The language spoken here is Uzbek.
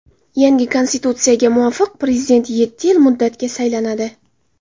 Yangi konstitutsiyaga muvofiq, prezident yetti yil muddatga saylanadi.